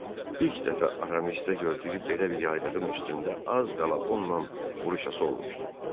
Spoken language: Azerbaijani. İlk dəfə Aramistdə gördüyü belə bir yaylığın üstündə az qala onunla vuruşası olmuşdu.